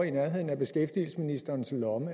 i nærheden af beskæftigelsesministerens lomme